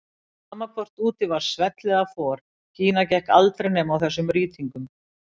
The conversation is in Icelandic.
Sama hvort úti var svell eða for, Gína gekk aldrei nema á þessum rýtingum.